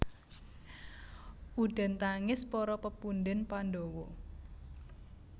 Udan tangis para pepundhén Pandhawa